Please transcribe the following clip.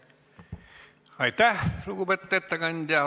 Aitäh, lugupeetud ettekandja!